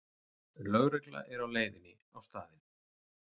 Lögregla er á leiðinni á staðinn